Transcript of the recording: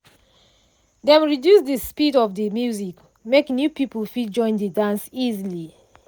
dem reduce de speed of de music make new people fit join de dance easily.